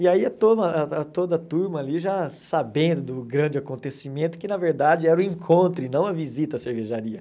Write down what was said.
E aí a turma a a toda a turma ali já sabendo do grande acontecimento, que na verdade era o encontro e não a visita à cervejaria.